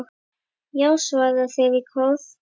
Já! svara þeir í kór.